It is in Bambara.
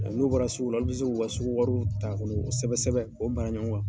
N'u bɔra sugu la olu bɛ se k'u ka sugu wariw ta kono sɛbɛsɛbɛ k'o mara ɲɔgɔn kan.